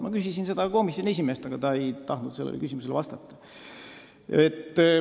Ma küsisin seda komisjoni esimehelt, aga ta ei tahtnud sellele vastata.